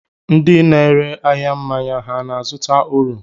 Ndị na-ere ahịa mmanya ha na-azụta uru?